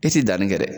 E ti danni kɛ dɛ